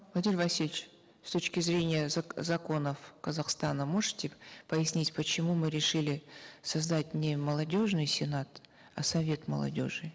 владимир васильевич с точки зрения законов казахстана можете пояснить почему мы решили создать не молодежный сенат а совет молодежи